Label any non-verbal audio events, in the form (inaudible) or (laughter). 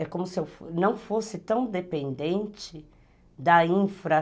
É como se eu (unintelligible) não fosse tão dependente da infra.